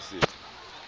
se